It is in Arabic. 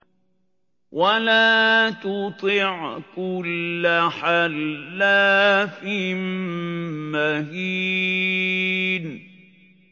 وَلَا تُطِعْ كُلَّ حَلَّافٍ مَّهِينٍ